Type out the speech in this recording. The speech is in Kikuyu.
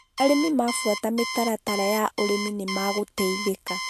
Arĩmi mafuata mitaratara ya ũrĩmi nĩmagũteithĩka